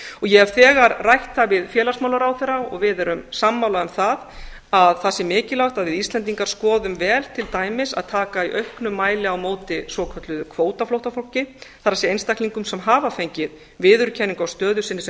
ég hef þegar rætt það við félagsmálaráðherra og við erum sammála um að það sé mikilvægt að við íslendingar skoðum vel til dæmis að taka í auknum mæli á móti svokölluðu kvótaflóttafólki það er einstaklingum sem hafa fengið viðurkenningu á stöðu sinni sem